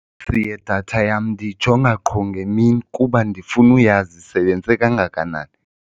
idatha yam ndiyijonga qho ngemini kuba ndifuna uyazi isebenze kangakanani.